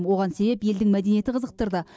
оған себеп елдің мәдениеті қызықтырды